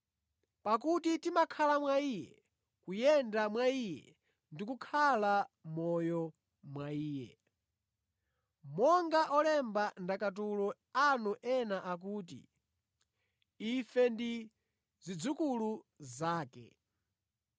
‘Pakuti timakhala mwa Iye, kuyenda mwa Iye ndi kukhala moyo mwa Iye.’ Monga olemba ndakatulo anu ena akuti, ‘Ife ndi zidzukulu zake.’